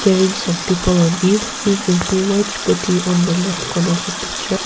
wearing some people on it we can see white scooty on the left corner of the picture.